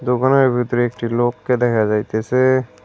দোকানের ভেতরে একটি লোককে দেখা যাইতেছে।